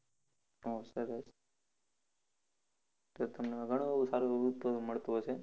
આહ સરસ તો તમને ઘણું એવું સારુ એવું મળતું હશે.